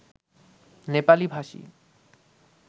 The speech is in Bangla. নেপালি ভাষী